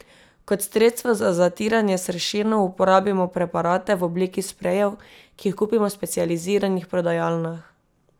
Kot sredstvo za zatiranje sršenov uporabimo preparate, v obliki sprejev, ki jih kupimo v specializiranih prodajalnah.